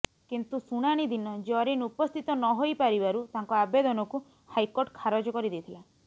କିନ୍ତୁ ଶୁଣାଣି ଦିନ ଜରିନ୍ ଉପସ୍ଥିତ ନ ହୋଇ ପାରିବାରୁ ତାଙ୍କ ଆବେଦନକୁ ହାଇକୋର୍ଟ ଖାରଜ କରି ଦେଇଥିଲା